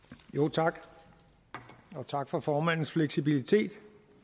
tak og tak for formandens fleksibilitet